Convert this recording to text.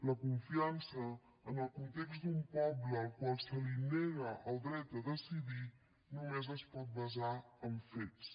la confiança en el context d’un poble al qual se li nega el dret a decidir només es pot basar en fets